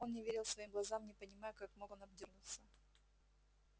он не верил своим глазам не понимая как мог он обдёрнуться